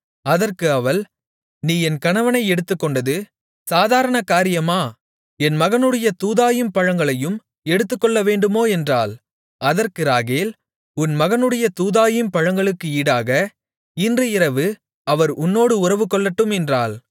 அதற்கு அவள் நீ என் கணவனை எடுத்துக்கொண்டது சாதாரணகாரியமா என் மகனுடைய தூதாயீம் பழங்களையும் எடுத்துக்கொள்ளவேண்டுமோ என்றாள் அதற்கு ராகேல் உன் மகனுடைய தூதாயீம் பழங்களுக்கு ஈடாக இன்று இரவு அவர் உன்னோடு உறவுகொள்ளட்டும் என்றாள்